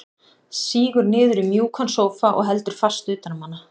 Sígur niður í mjúkan sófa og heldur fast utan um hana.